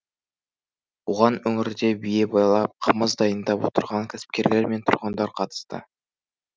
оған өңірде бие байлап қымыз дайындап отырған кәсіпкерлер мен тұрғындар қатысты